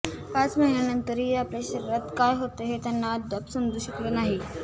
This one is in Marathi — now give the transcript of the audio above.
पाच महिन्यांनंतरही आपल्या शरीरात काय होतंय हे त्यांना अद्याप समजू शकलं नाही